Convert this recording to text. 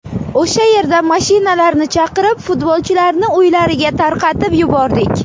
O‘sha yerda mashinalarni chaqirib, futbolchilarni uylariga tarqatib yubordik.